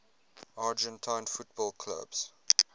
argentine football clubs